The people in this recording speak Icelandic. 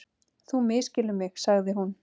Þú misskilur mig- sagði hún.